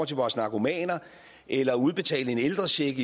til vores narkomaner eller at udbetale en ældrecheck